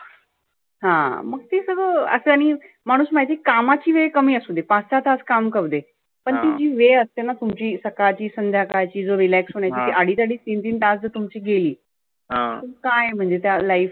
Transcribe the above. हा मग ते सगळ आशानी माणुस माहिती आहे कामाची वेळ कमी असुदे पाच सहा तास काम करुदे. पण ती जी वेळ असतेना तुमची सकाळची संध्याकाळची जो relax होण्याची आडीच आडीच तीन तीन तास जर तुमची गेली तर काय आहे म्हणजे त्या life